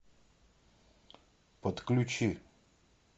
подключи